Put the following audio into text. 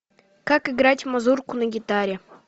как играть мазурку на гитаре